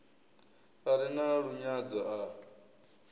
a re na lunyadzo a